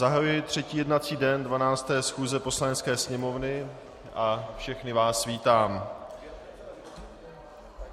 Zahajuji třetí jednací den 12. schůze Poslanecké sněmovny a všechny vás vítám.